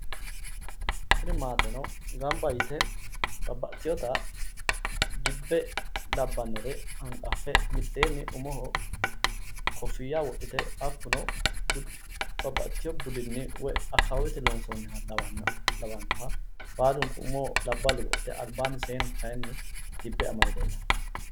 Tinni maateno gamba yite babbaxiteotta dibe labbanore hanqafe miteenni umoho kofiya wodhite hakuno babbaxiteo budinni woyi akawaawete loonsooniha lawanoha baalunku umoho labballu wodhite albaanni seenu kayinni debe amade leellano.